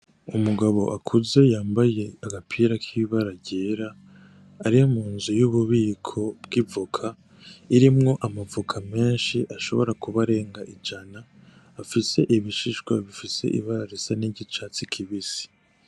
Umugabo akuze yambaye agapira k'ibara ryera ari mu nzu y'ububiko bw'ivoka irimwo amavoka menshi ashobora kuba arenga ijana afise ibishishwa bifise ibara risa n'ik’icatsi kibisi.